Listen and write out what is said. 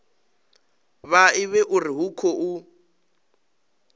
vha ivhe uri hu khou